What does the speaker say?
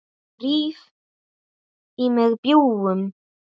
Ég ríf í mig bjúgun.